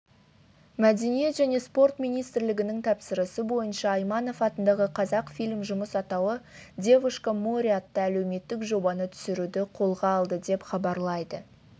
мәдениет және спорт министрлігінің тапсырысы бойынша айманов атындағы қазақфильм жұмыс атауы девушка море атты әлеуметтік жобаны түсіруді қолға алды деп хабарлайды